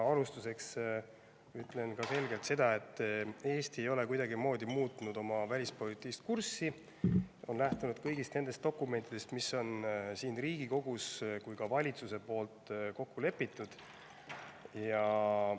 Alustuseks ütlen selgelt, et Eesti ei ole kuidagimoodi muutnud oma välispoliitilist kurssi ja on lähtunud kõigist dokumentidest, mis on nii siin Riigikogus kui ka valitsuses kokku lepitud.